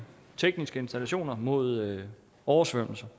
tekniske installationer mod oversvømmelser